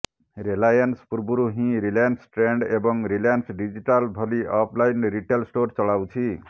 Reliance ପୂର୍ବରୁ ହିଁ Reliance Trends ଏବଂ ରିଲାଏନ୍ସ ଡିଜିଟାଲ ଭଲି ଅଫଲାଇନ୍ ରିଟେଲ ଷ୍ଟୋର ଚଳାଉଛି